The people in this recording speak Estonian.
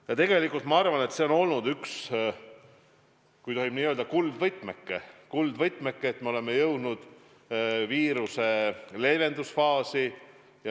Ja tegelikult ma arvan, et see on olnud üks, kui tohib nii öelda, kuldvõtmeke, et me oleme jõudnud viiruse leevendusfaasi.